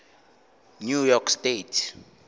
new york state